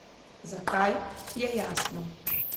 Zakaj, je jasno.